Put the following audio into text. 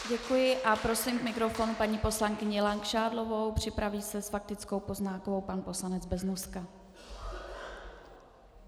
Děkuji a prosím k mikrofonu paní poslankyni Langšádlovou, připraví se s faktickou poznámkou pan poslanec Beznoska.